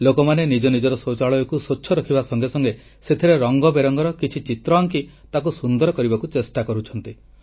ଲୋକମାନେ ନିଜ ନିଜର ଶୌଚାଳୟକୁ ସ୍ୱଚ୍ଛ ରଖିବା ସଙ୍ଗେ ସଙ୍ଗେ ସେଥିରେ ରଙ୍ଗ ବେରଙ୍ଗର କିଛି ଚିତ୍ର ଆଙ୍କି ତାକୁ ସୁନ୍ଦର କରିବାକୁ ଚେଷ୍ଟା କରୁଛନ୍ତି